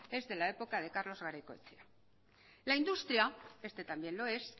es de la época de carlos garaikoetxea la industria este también lo es